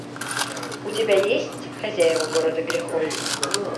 у тебя есть хозяева города грехов